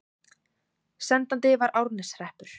Sendandi var Árneshreppur.